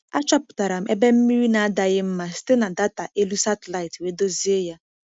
Achọpụtara m ebe mmiri na-adaghị mma site na data elu satịlaịtị wee dozie ya.